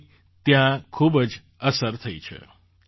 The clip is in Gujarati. તેની ત્યાં ખૂબ જ અસર થઈ છે